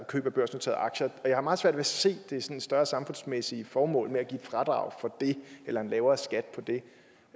køb af børsnoterede aktier jeg har meget svært ved at se det sådan større samfundsmæssige formål ved at give fradrag for det eller en lavere skat for det